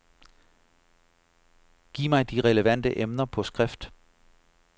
Giv mig de relevante emner på skrift.